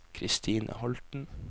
Christine Holten